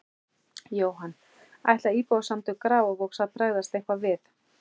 Jóhann: Ætla Íbúasamtök Grafarvogs að bregðast eitthvað við?